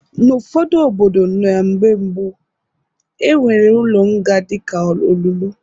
N'ụfọdụ obodo na mgbe gboo, e nwere ụlọ nga dịka olulu.